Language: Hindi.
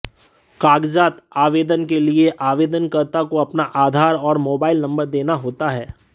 कागजातः आवेदन के लिए आवेदनकर्ता को अपना आधार और मोबाइल नंबर देना होता है